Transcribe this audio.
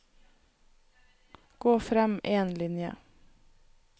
Gå frem én linje